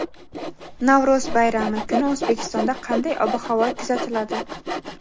Navro‘z bayrami kuni O‘zbekistonda qanday ob-havo kuzatiladi?.